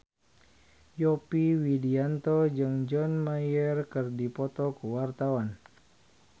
Yovie Widianto jeung John Mayer keur dipoto ku wartawan